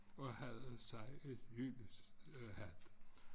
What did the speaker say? Og havde sig et hus haft